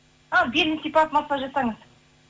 белін сипап массаж жасаңыз